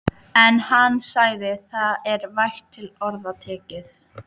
En hann sagði: Það er vægt til orða tekið.